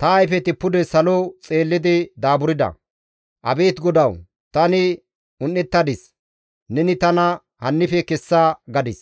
Ta ayfeti pude salo xeellidi daaburda. Abeet Godawu, tani un7ettadis; neni tana hannife kessa!» gadis.